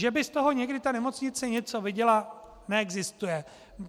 Že by z toho někdy ta nemocnice něco viděla, neexistuje.